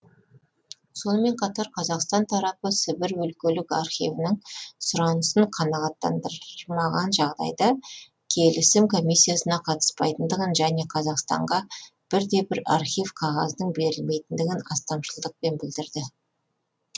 сонымен қатар қазақстан тарапы сібір өлкелік архивінің сұранысын қанағаттандырмаған жағдайда келісім комиссиясына қатыспайтындығын және қазақстанға бір де бір архив қағазының берілмейтіндігін астамшылдықпен білдірді